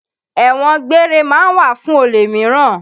Ẹ̀wọn gbére ma ń wà fún olè míràn.